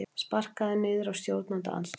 Sparkaður niður af stjórnarandstöðunni